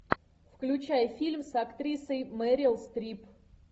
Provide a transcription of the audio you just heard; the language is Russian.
включай фильм с актрисой мэрил стрип